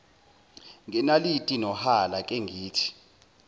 ngenaliti nohala kengithi